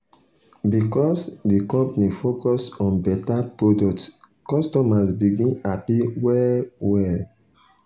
because the company focus on better product customers begin happy well well.